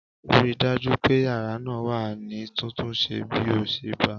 Ri dájú pé yàrá náà wà ní títúnṣẹ bí o ṣe bá a!